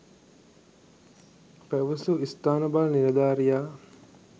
පැවසූ ස්ථාන භාර නිලධාරියා